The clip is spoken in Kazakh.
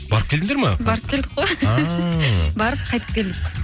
барып келдіңдер ме барып келдік қой барып қайтып келдік